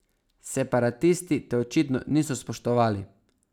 Separatisti te očitno niso spoštovali.